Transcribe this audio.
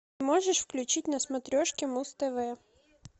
можешь включить на смотрешке муз тв